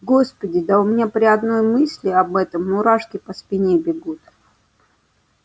господи да у меня при одной мысли об этом мурашки по спине бегут